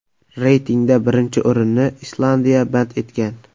Reytingda birinchi o‘rinni Islandiya band etgan.